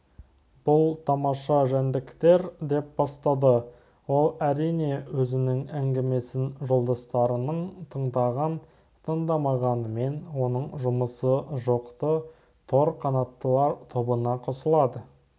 бұл тамаша жәндіктер деп бастады ол әрине өзінің әңгімесін жолдастарының тыңдаған-тыңдамағанымен оның жұмысы жоқ-ты тор қанаттылар тобына қосылады